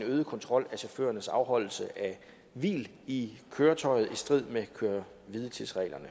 øget kontrol af chaufførernes afholdelse af hvil i køretøjet i strid med at køre hvile tids reglerne